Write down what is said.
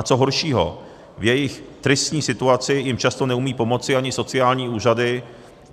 A co horšího, v jejich tristní situaci jim často neumějí pomoci ani sociální úřady